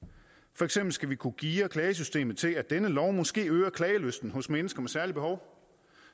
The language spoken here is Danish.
for eksempel skal vi kunne geare klagesystemet til at denne lov måske øger klagelysten hos mennesker med særlige behov